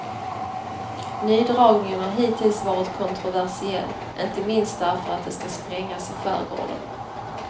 Nydragningen har hittills varit kontroversiell, inte minst därför att det ska sprängas i skärgården.